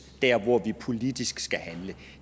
dér hvor vi politisk skal handle